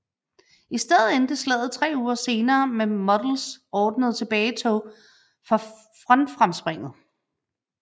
I stedet endte slaget tre uger senere med Models ordnede tilbagetog fra frontfremspringet